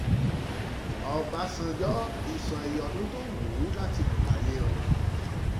ọ̀bánjọ́ ti sọ iye ọdún tó wù ú láti lò láyé o